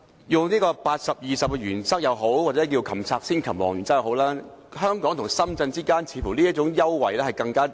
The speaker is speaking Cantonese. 採用 80：20 的原則也好，又或稱為"擒賊先擒王"的原則也好，香港與深圳之間似乎更迫切需要這一種優惠。